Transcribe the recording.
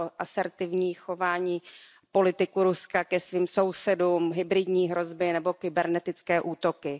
o asertivní chování politiků Ruska ke svým sousedům, hybridní hrozby nebo kybernetické útoky.